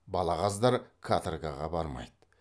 балағаздар каторгаға бармайды